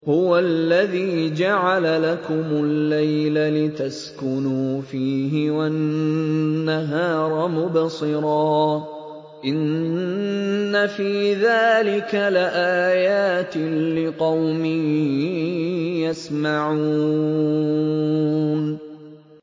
هُوَ الَّذِي جَعَلَ لَكُمُ اللَّيْلَ لِتَسْكُنُوا فِيهِ وَالنَّهَارَ مُبْصِرًا ۚ إِنَّ فِي ذَٰلِكَ لَآيَاتٍ لِّقَوْمٍ يَسْمَعُونَ